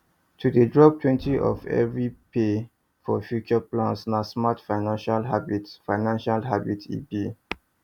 to dey droptwentyof every pay for future plans na smart financial habit financial habit e be